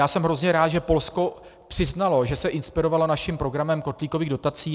Já jsem hrozně rád, že Polsko přiznalo, že se inspirovalo naším programem kotlíkových dotací.